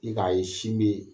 I ka ye sin be